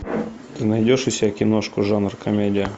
ты найдешь у себя киношку жанр комедия